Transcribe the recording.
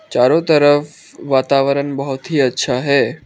चारों तरफ वातावरण बहोत ही अच्छा है।